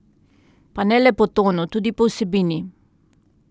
Pa ne le po tonu, tudi po vsebini.